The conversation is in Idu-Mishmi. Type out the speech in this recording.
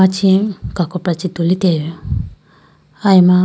che kakopra chee tulitelayi bi aya ma.